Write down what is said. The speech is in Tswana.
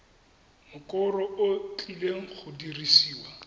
mokoro o tlileng go dirisiwa